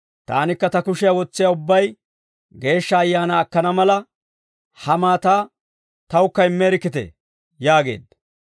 «Taanikka ta kushiyaa wotsiyaa ubbay Geeshsha Ayaanaa akkana mala, ha maataa tawukka immeerikkitee» yaageedda.